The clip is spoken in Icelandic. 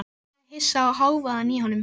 Greinilega hissa á hávaðanum í honum.